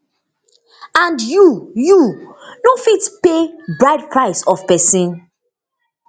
and you you know fit pay bride price of pesin